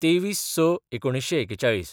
२३/०६/१९४१